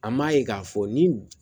An m'a ye k'a fɔ ni